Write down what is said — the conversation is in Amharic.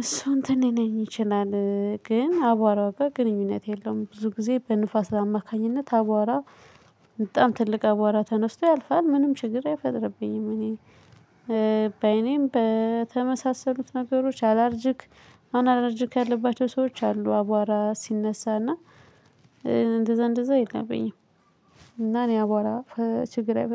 እሱ እንትን ሊለኝ ይችላል ግን አቧራው ጋር ግንኙነት የለውም። ብዙ ጊዜ በንፋስ አማካኝነት አቧራ በጣም ትልቅ አብዎራ ተነስቶ ያልፋል ምንም ችግር አይፈጥርብኝም። እኔ በአይኔም በተመሳሰሉት ነገሮች አላርጅክ አሁን አላርጅክ ያለባቸው ሰዎች አሉ አቧራ ሲነሳ እና እንደዛ እንደዛ የለብኝም። እና እኔ አቧራ ፈ ችግር አይፈጥር